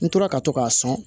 N tora ka to k'a sɔn